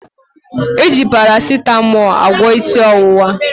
E ji Parasịtamọọ agwọ isi ọwụwa